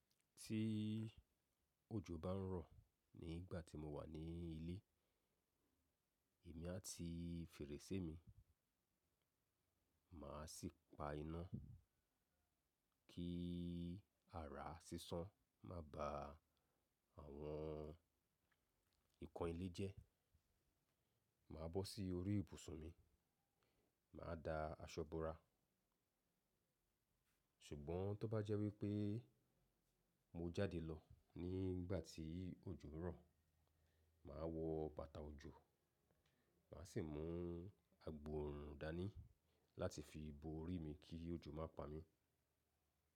Tí òjò bá ń rọ̀ nígbà tí mo wà ní ilé, èmi á ti fèrèsé mi, màá sì pa iná kí ara sísán má ba àwọn nǹkan ilé jẹ́. Màá bọ́ sí orí ibùsùn mi, màá da aṣọ búra. Ṣùgbọ́n tó bá jẹ́ wípé mo jáde lọ nígbà tí òjò ń rọ̀, màá wọ bàtà òjò, màá sì mú agbòòrùn dání láti fi bo orí mi kí òjò má pa mí.